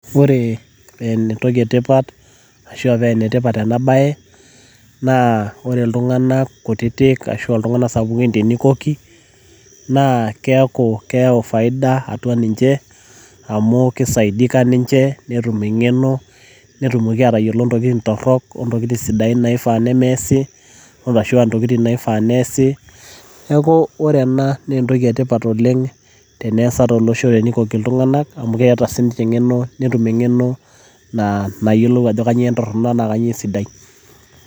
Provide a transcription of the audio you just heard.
Ore entoki etipat ashua paa enetipat ena baye naa ore iltunganak kutitik ashua iltunganak sapukin teneikoki naa keeku keyau faida atua ninche amu keisaidika ninche netum eng'eno netumoki aatayiolo intokitin torok ontokitin sidain naifaa neesi ashua intokitin naifaa neesi neeku ore ena naa entoki etipat oleng teneasa tolosho teneikoki iltung'anak amu keeta siininche eng'eno netum eng'eno naa nayiolou ajo kanyioo entoronok enaa kanyioo esidai.